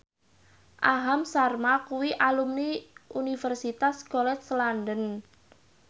Aham Sharma kuwi alumni Universitas College London